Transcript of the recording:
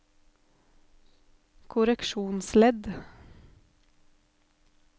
korreksjonsledd